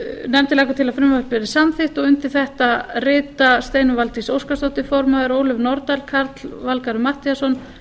nefndin leggur til að frumvarpið verði samþykkt undir þetta rita steinunn valdís óskarsdóttir form ólöf nordal karl fimmti matthíasson